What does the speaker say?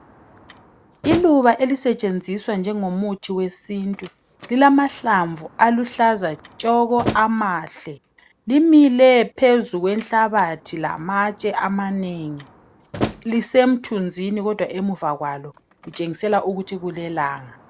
Iluba elisentshenziswa njengomuthi wesintu, zilamahlamvu aluhlaza tshoko amahle. Limile phezu kwenhlabathi lamatshe lisemthunzini kodwa kutshengisela ukuthi kulelanga.